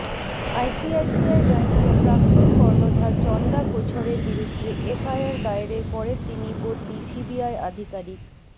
ICICI ব্যাঙ্কের প্রাক্তন কর্ণধার চন্দা কোছরের বিরুদ্ধে এফআইআর দায়েরের পরের দিনই বদলি সিবিআই আধিকারিক